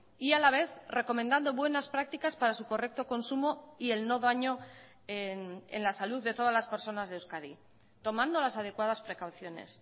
y a la vez recomendando buenas prácticas para su correcto consumo y el no daño en la salud de todas las personas de euskadi tomando las adecuadas precauciones